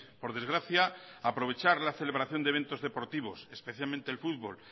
por desgracia aprovechar la celebración de eventos deportivos especialmente el fútbol